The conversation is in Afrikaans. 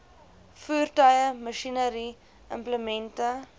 voertuie masjinerie implemente